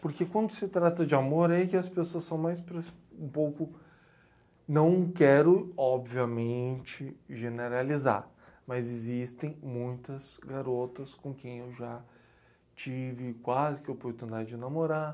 Porque quando se trata de amor, aí que as pessoas são mais pres, um pouco... Não quero, obviamente, generalizar, mas existem muitas garotas com quem eu já tive quase que oportunidade de namorar.